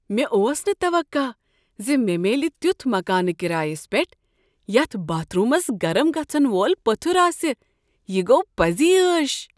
مےٚ اوس نہ توقع ز مےٚ میلہِ تیتھ مکانہ کرایس پیٹھ یتھ باتھ رومس گرم گژھن وول پتھٕر آسہ، یہ گو پزی عٲش!